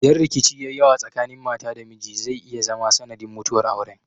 Idan rikici ya yi yawa tsakanin mata da miji zai iya zama sanadin mutuwar auren.